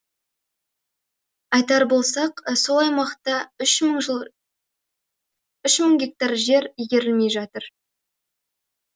айтар болсақ сол аймақта үш мың гектар жер игерілмей жатыр